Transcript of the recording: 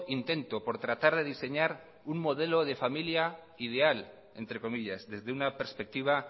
intento por tratar de diseñar un modelo de familia ideal entre comillas desde una perspectiva